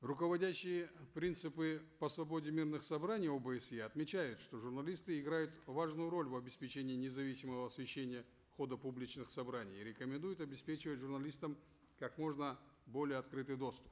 руководящие принципы по свободе мирных собраний обсе отмечают что журналисты играют важную роль в обеспечении независимого освещения хода публичных собраний и рекомендуют обеспечивать журналистам как можно более открытый доступ